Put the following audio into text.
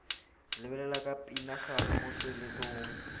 lebelela ke pinagare mo tsweletsong